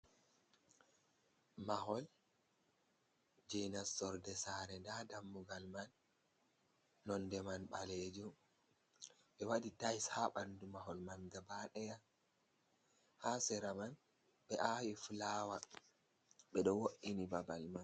Mahol jey nassorde saare ndaa dammugal man, nonnde man ɓaleejum. Ɓe waɗi "tayis" haa banndu mahol man gabaaɗeya. Haa sera man ɓe waɗi fulaawa ɓe ɗo wo’’ini babal man.